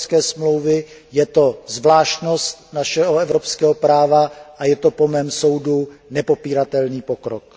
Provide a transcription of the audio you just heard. Smlouvy o ES, je to zvláštnost našeho evropského práva a je to po mém soudu nepopíratelný pokrok.